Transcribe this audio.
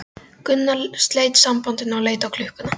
Gunnar sleit samtalinu og leit á klukkuna.